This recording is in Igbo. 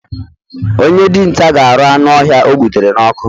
Onye dinta ga aru anu ohia o gbutere n'ọkụ